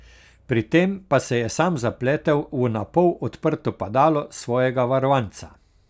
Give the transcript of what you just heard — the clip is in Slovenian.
Pri tem pa se je sam zapletel v napol odprto padalo svojega varovanca.